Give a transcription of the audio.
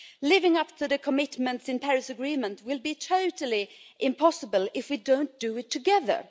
Living up to the commitments in the Paris Agreement will be totally impossible if we don't do it together.